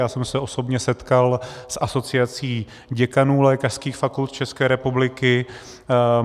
Já jsem se osobně setkal s Asociací děkanů lékařských fakult České republiky.